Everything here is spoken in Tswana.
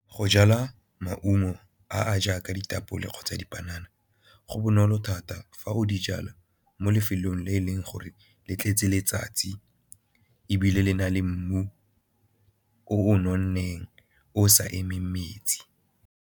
Go jala maungo a a jaaka ditapole kgotsa dipanana go bonolo thata fa o di jala mo lefelong le e leng gore le tletse letsatsi ebile le na le mmu o o nonneng o o sa emeng metsi.